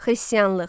Xristianlıq.